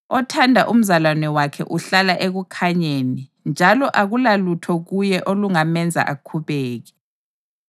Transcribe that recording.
Othanda umzalwane wakhe uhlala ekukhanyeni njalo akulalutho kuye olungamenza akhubeke.